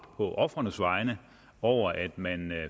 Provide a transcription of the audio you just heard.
på ofrenes vegne over at man